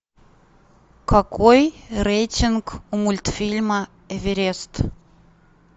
какой рейтинг у мультфильма эверест